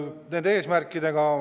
Need eesmärgid ...